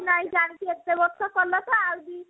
ନାଇଁ ଜାଣିଛୁ ଏତେ ବର୍ଷ କଲା ତ ଆଉ ଦି